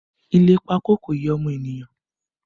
Ile pákó kò yẹ ọmọ ènìyàn